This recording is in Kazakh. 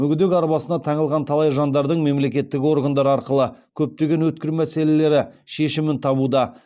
мүгедек арбасына таңылған талай жандардың мемлекеттік органдар арқылы көптеген өткір мәселелері шешімін табуда